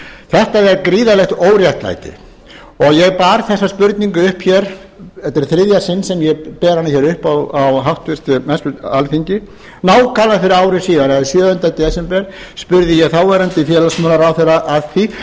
þetta er gríðarlegt óréttlæti þetta er í þriðja sinn sem ég ber þessa spurningu upp hér á háttvirtu alþingi nákvæmlega fyrir ári síðan eða sjöunda desember spurði ég þáverandi félagsmálaráðherra að því hvort hann